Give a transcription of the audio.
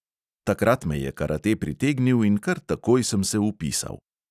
Takrat me je karate pritegnil in kar takoj sem se vpisal.